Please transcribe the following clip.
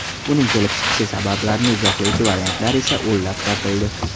Uning kelib chiqish sabablarini izohlovchi variantlar esa o‘nlab topildi.